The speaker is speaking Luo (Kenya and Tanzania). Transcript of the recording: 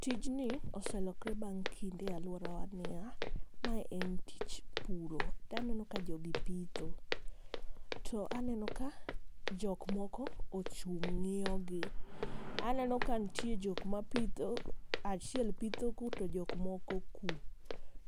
Tijni oselokore bang' kinde e alworawa niya, maye en tich puro. To aneno ka jogi pitho. To aneno ka jokmoko ochung' ng'iyo gi. Aneno ka nitie jok ma pitho, achiel pitho ku to jok moko ku.